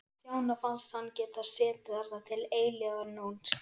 Stjána fannst hann geta setið þarna til eilífðarnóns.